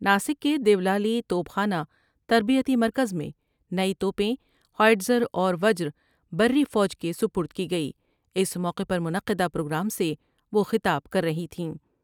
ناسک کے دیولالی توپ خانہ تربیتی مرکز میں نئی تو پیں ہوئیز راوروجر بری فوج کے سپرد کی گئی اس موقع پر منعقدہ پروگرام سے وہ خطاب کر رہی تھیں ۔